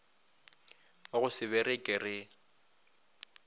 wa go se bereke re